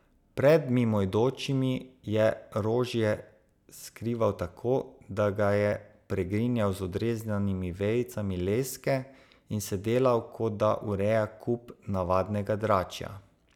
Pred mimoidočimi je rožje skrival tako, da ga je pregrinjal z odrezanimi vejicami leske in se delal, kot da ureja kup navadnega dračja.